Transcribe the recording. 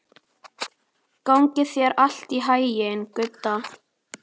Gangi þér allt í haginn, Gudda.